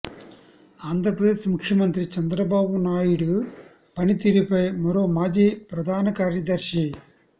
ఆంధ్రప్రదేశ్ ముఖ్యమంత్రి చంద్రబాబు నాయుడి పనితీరుపై మరో మాజీ ప్రధాన కార్యదర్శి